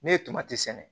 Ne ye sɛnɛ